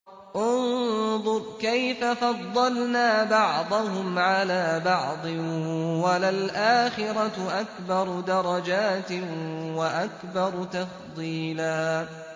انظُرْ كَيْفَ فَضَّلْنَا بَعْضَهُمْ عَلَىٰ بَعْضٍ ۚ وَلَلْآخِرَةُ أَكْبَرُ دَرَجَاتٍ وَأَكْبَرُ تَفْضِيلًا